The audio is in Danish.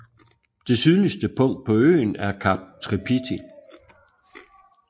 Det sydligste punkt på øen er Kap Tripiti